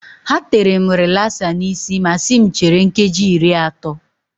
Ha tere m rilasa n'isi ma si m chere nkeji iri atọ.